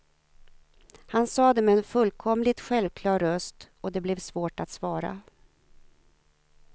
Han sa det med en fullkomligt självklar röst och det blev svårt att svara.